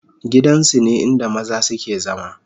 gidan su ne inda maza su ke zama